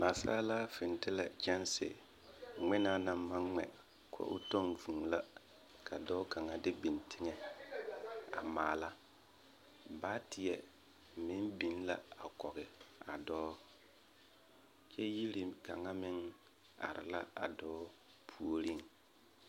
Naasaalaa fintilɛ kyɛnse ngmenaa naŋ maŋ ngmɛ koo tɔŋ vūū la ka dɔɔ kaŋa de biŋ teŋɛ a maala baatieɛ meŋ biŋ la a kɔge a dɔɔ kyɛ yiri kaŋa meŋ are la a dɔɔ puoriŋ.